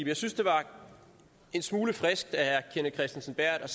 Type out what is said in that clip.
jeg synes det var en smule frisk af herre kenneth kristensen berth at